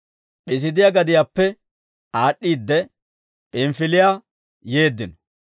P'iisiidiyaa gadiyaappe aad'd'iide, P'inifiliyaa yeeddino;